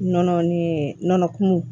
Nɔnɔ ni nɔnɔ kumu